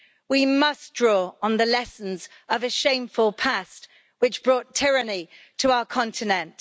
We must draw on the lessons of a shameful past which brought tyranny to our continent.